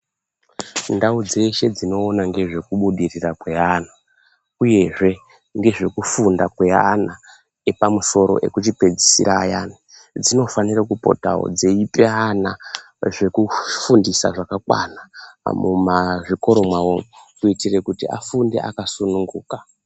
Ndau dzeshe dzinoona ngezvekubudirira kweana uyezve ngezvekufunda kweana epamusoro ekuchipedzisira ayana dzinofanire kupotawo dzeipe ana zvekufundisa zvakakwana mumazvikoro mwawo kuitire kuti afunde akasununguka.